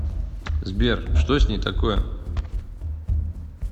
сбер что с ней такое